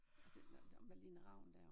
Og simpelthen dem Malene Ravn dér